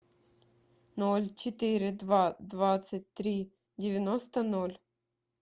ноль четыре два двадцать три девяносто ноль